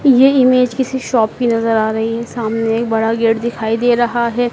ये इमेज किसी शॉप की नजर आ रही है सामने एक बड़ा गेट दिखाई दे रहा है।